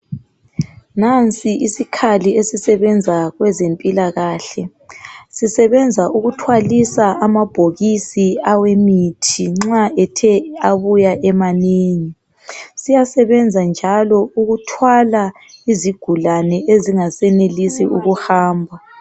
Nansi isikhali esisebenza kwezempilakahle. Sisebenza ukuthwalisa amabhokisi awe mithi nxa ethe abuya emanengi. Siyasebenza njalo ukuthwala izigulane ezingasenelisi ukuhamba.